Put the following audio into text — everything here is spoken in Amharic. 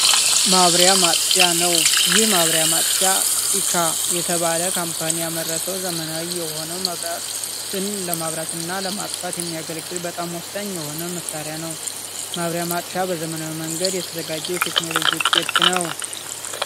ማብሪያ ማጥፊያ ነው። ይህ ማብሪያ ማጥፊ ኢካ የተባለ ካምፓኒ ያመረተው ዘመናዊ የሆነውን መብራትን ለማብራት እና ለማጥፋት የሚያገለግል በጣም ወሳኝ የሆነ መሳሪያ ነው። ማብሪያ መጥፊያ በዘመናዊ መንገድ የተዘጋጀ የቴክኖሎጂ ውጤት ነው።